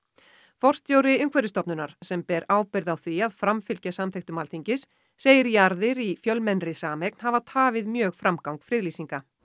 forstjóri Umhverfisstofnunar sem ber ábyrgð á því að framfylgja samþykktum Alþingis segir jarðir í fjölmennri sameign hafa tafið mjög framgang friðlýsinga